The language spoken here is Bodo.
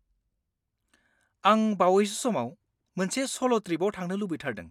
आं बावैसो समाव मोनसे सल' ट्रिपआव थांनो लुबैथारदों।